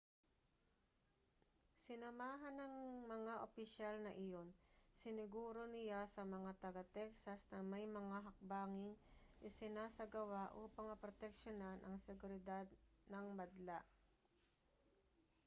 sinamahan ng mga opisyal na iyon siniguro niya sa mga taga-texas na may mga hakbanging isinasagawa upang maproteksiyonan ang seguridad ng madla